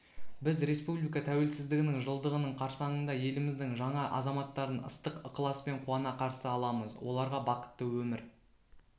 біз республика тәуелсіздігінің жылдығының қарсаңында еліміздің жаңа азаматтарын ыстық ықыласпен қуана қарсы аламыз оларға бақытты өмір